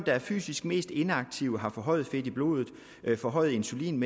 er fysisk mest inaktive har forhøjet fedt i blodet forhøjet insulinmængde